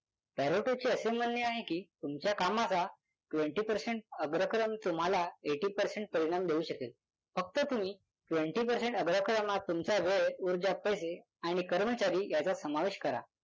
चे असे म्हणणे आहे की तुमच्या कामाचा twenty percent अग्रक्रम तुम्हाला eighty percent परिणाम देऊ शकेल. फक्त तुम्ही twenty percent अग्रक्रमात तुमचा वेळ उर्जा पैसे आणि कर्मचारी याचा समावेश करा.